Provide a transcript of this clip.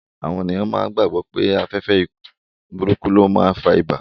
Àwọn èèyàn máa gbàgbọ̀ pé afẹ́fẹ́ burúkú ló n fa ibà